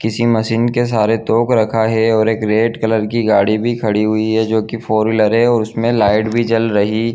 किसी मशीन के सहारे तोप रखा है और एक रेड कलर की गाडी भी खड़ी हुई है जो की फोर व्हीलर है और उसमें लाइट भी जल रही --